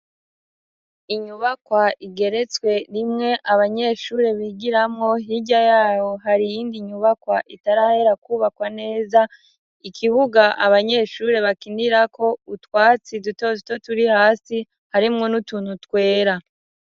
Inyubakwa igeretswe rimwe abanyeshure bigiramwo, hirya yayo hari iyindi nyubakwa itarahera kwubakwa neza, ikibuga abanyeshure bakinirako, utwatsi duto duto turi hasi harimwo n'utuntu twera.